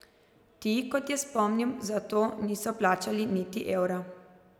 Ti, kot je spomnil, za to niso plačali niti evra.